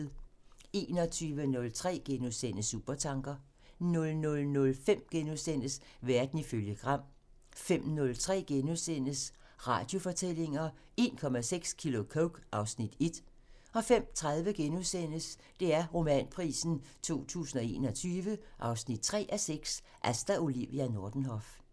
21:03: Supertanker *(tir) 00:05: Verden ifølge Gram *(tir) 05:03: Radiofortællinger: 1,6 kilo coke - (Afs. 1)* 05:30: DR Romanprisen 2021 3:6 – Asta Olivia Nordenhof *